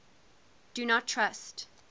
do not trust